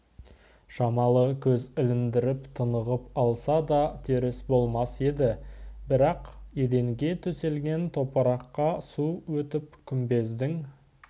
шамалы көз іліндіріп тынығып алса да теріс болмас еді бірақ еденге төселген топыраққа су өтіп күмбездің